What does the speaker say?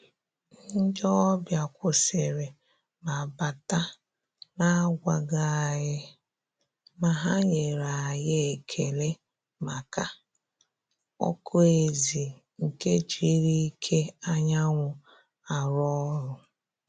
Ndị́ ọ́bị̀à kwụ́sị́rị̀ mà bátà nà-ágwàghị́ ànyị́, mà hà nyèrè ànyị́ ékélé màkà ọ́kụ́ ézì nke jírí íké ányà nwụ́ àrụ́ ọ́rụ́.